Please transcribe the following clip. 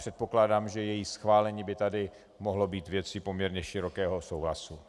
Předpokládám, že její schválení by tady mohlo být věcí poměrně širokého souhlasu.